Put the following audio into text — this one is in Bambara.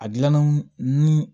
A gilanna ni